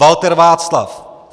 Walter Václav